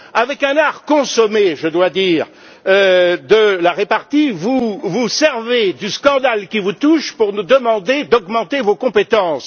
Avec un art consommé, je dois dire, de la répartie, vous vous servez du scandale qui vous touche pour nous demander d'augmenter vos compétences.